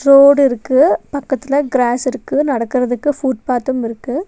Road இருக்கு. பக்கத்துல cross இருக்கு. நடக்கறதுக்கு ஃபுட்பாத்தும் இருக்கு.